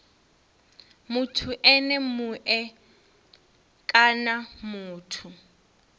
muthu ene mue kana muthu